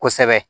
Kosɛbɛ